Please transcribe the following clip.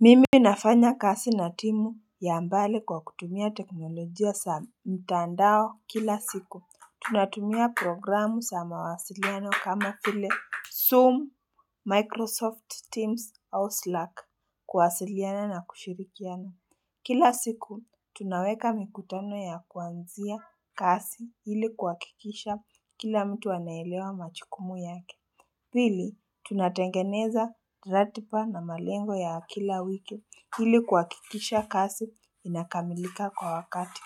Mimi nafanya kazi na timu ya mbali kwa kutumia teknolojia za mtandao kila siku. Tunatumia programu za mawasiliano kama vile Zoom, Microsoft Teams, or Slack kuwasiliana na kushirikiana. Kila siku, tunaweka mikutano ya kuanzia kazi ili kuhakikisha kila mtu anaelewa majukumu yake. Pili, tunatengeneza ratiba na malengo ya kila wiki ili kuhakikisha kazi inakamilika kwa wakati.